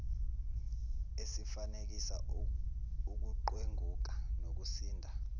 esifanekisa ukuqwenguka nokusinda